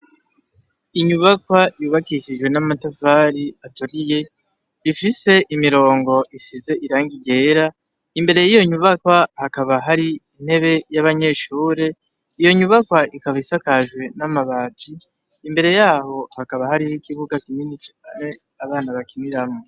Inyubakwa yubakishije n'amatafari aturiye, ifise imirongo isize irangi ryera, imbere y'iyo nyubakwa hakaba hari intebe y'abanyeshure, iyo nyubakwa ikaba isakajwe n'amabati, imbere yaho hakaba hari ikibuga kinini cane abana bakiniramwo.